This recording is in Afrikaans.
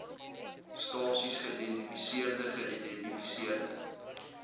stasies geïdentifiseerde geïdentifiseerde